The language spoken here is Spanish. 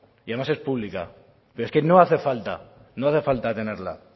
y además es pública pero es que no hace falta no hace falta tenerla